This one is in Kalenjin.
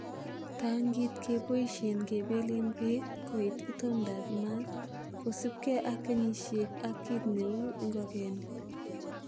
Tankit keboishen kebelen beek koit itondaab maat kosiibge ak kenyisiek ak kit neu ingogenik.